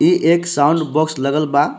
इ एक sound box लगल बा.